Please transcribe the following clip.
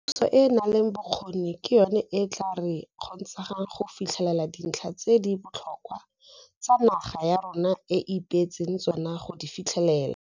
Puso e e nang le bokgoni ke yona e e tla re kgontshang go fitlhelela dintlha tse di botlhokwa tse naga ya rona e ipeetseng tsona go di fitlhelela.